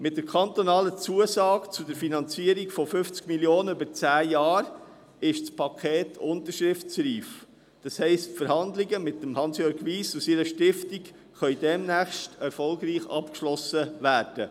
– Mit der kantonalen Zusage zur Finanzierung von 50 Mio. Franken über zehn Jahre ist das Paket unterschriftsreif, das heisst, die Verhandlungen mit Hansjörg Wyss und seiner Stiftung können demnächst erfolgreich abgeschlossen werden.